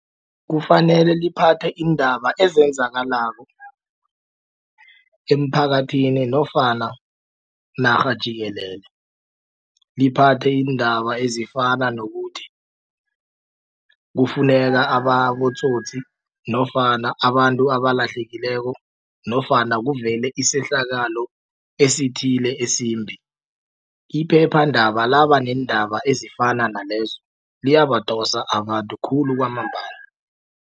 Kufanele liphathe iindaba ezenzakalako emphakathini nofana narha jikelele liphathe iindaba ezifana nokuthi kufuneka abotsotsi nofana abantu abalahlekileko nofana kuvele isehlakalo esithile esimbi. Iphephandaba laba neendaba ezifana nalezo liyabadosa abantu khulu kwamambala.